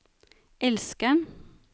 elskeren